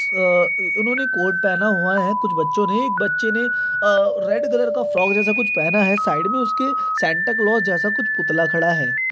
अ-अ उन्होंने कोट पहना हुआ है कुछ बच्चों ने एक बच्चे ने आ रेड कलर का फ्रॉक जैसा कुछ पेहना है साइड में उसके कुछ सैंटा क्लोस जैसा कुछ पुतला खड़ा है।